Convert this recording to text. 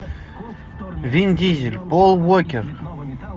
вин дизель пол уокер